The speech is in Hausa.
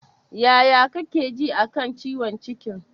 Yaya kake ji a kan ciwon cikin?